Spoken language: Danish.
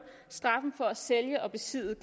straffen for at sælge og besidde